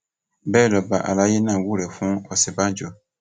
bẹẹ lọba àlàyé náà wúrẹ fún òsínbàjò